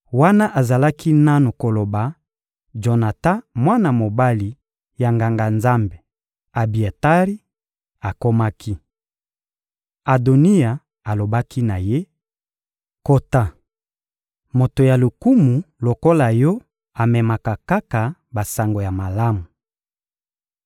Wana azalaki nanu koloba, Jonatan, mwana mobali ya Nganga-Nzambe Abiatari, akomaki. Adoniya alobaki na ye: — Kota! Moto ya lokumu lokola yo amemaka kaka basango ya malamu.